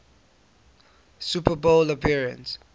super bowl appearance